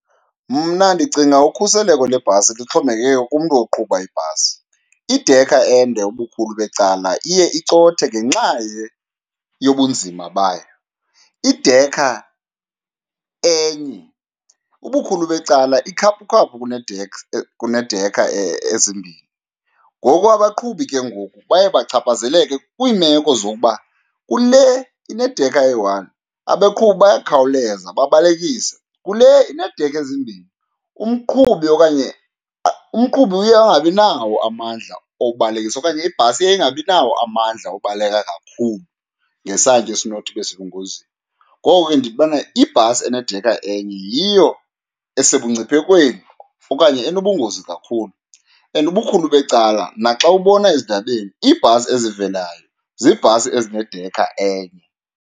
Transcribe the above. Mna ndicinga ukhuseleko lebhasi lixhomekeke kumntu oqhuba ibhasi. Idekha ende ubukhulu becala iye icothe ngenxa yobunzima bayo, idekha enye ubukhulu becala ikhaphukhaphu kuneedekha ezimbini. Ngoku abaqhubi ke ngoku baye bachaphazeleke kwiimeko zokuba kule inedekha eyi-one abaqhubi bayakhawuleza babalekise, kule ineedekha ezimbini umqhubi okanye , umqhubi uye angabi nawo amandla obalekisa okanye ibhasi iye ingabi nawo amandla obaleka kakhulu ngesantya esinothi ibe sengozini. Ngoko ke, ndibona ibhasi enedekha enye yiyo esebungciphekweni okanye enobungozi kakhulu and ubukhulu becala naxa ubona ezindabeni iibhasi ezivelayo ziibhasi ezinedekha enye.